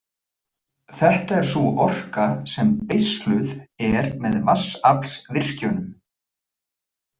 Þetta er sú orka sem beisluð er með vatnsaflsvirkjunum.